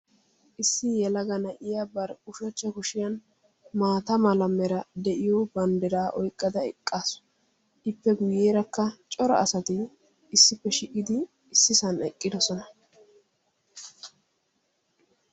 issi yelaga na'iya bari ushshachcha kushiyaa maata mala meray de'iyo banddiraa oyqqada eqqaasu; ippe guyyerakka cora asati ississan shiiqidi eqqidoosona.